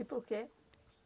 E por quê?